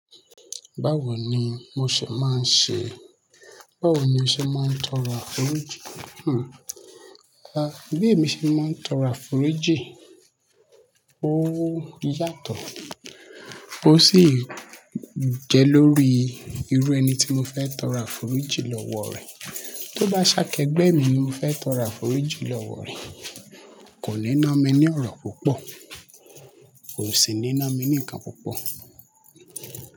Báwo ni mo ṣe máa ń ṣe, báwo ni mo ṣe máa ń tọrọ àforíjì? Hmm. A, bí èmi ṣe máa ń tọrọ àforíjì, ó yàtọ̀, ó sì jẹ́ lórí irú ẹni tí mo fẹ́ tọrọ àforíjì lọ́wọ́ rẹ̀. Tó bá ṣe ákẹ́gbẹ́ mi ni mo fẹ́ tọrọ àforíjì lọ́wọ́ rẹ̀, kò ní ná mi ní ọ̀rọ̀ púpọ̀, kò sì ní ná mi ní ǹkan púpọ̀.